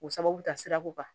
O sababu ta sira ko kan